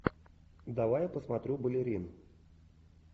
давай я посмотрю балерин